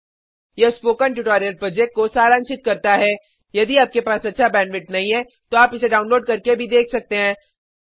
यह spoken tutorial project को सारांशित करता है यदि आपके पास अच्छा बैंडविड्थ नहीं है तो आप इसको डाउनलोड करके भी देख सकते हैं